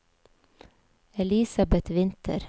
Elisabeth Winther